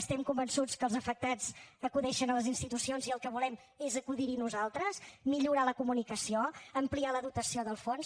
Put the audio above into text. estem convençuts que els afectats acudeixen a les institucions i el que volem és acudir hi nosaltres millorar la comunicació ampliar la dotació del fons